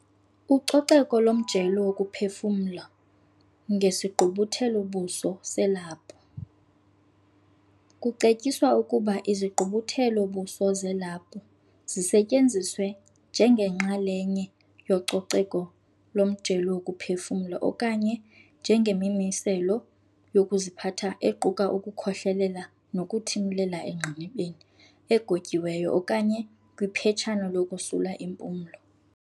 Ucoceko lomjelo wokuphefumla ngesigqubuthelo-buso selaphu. Kucetyiswa ukuba izigqubuthelo-buso zelaphu zisetyenziswe njengenxa lenye yococeko lomjelo wokuphefumla okanye njengemimiselo yokuziphatha equka ukukhohlelela nokuthimlela engqinibeni egotyiweyo okanye kwiphetshana lokosula impumlo.